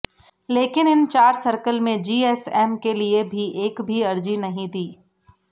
लेकिन इन चार सर्कल में जीएसएम के लिए भी एक भी अर्जी नहीं दी